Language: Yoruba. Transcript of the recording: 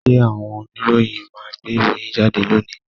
Ṣé àwọn oníròyìn máa gbé ìròyìn jáde lónìí?